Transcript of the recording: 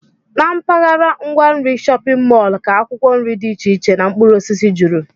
Na mpaghara ngwa nri shọpịn mọl ka akwụkwọ nri dị iche iche na mkpụrụosisi juru